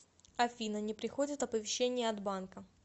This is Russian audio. афина не приходят оповещения от банка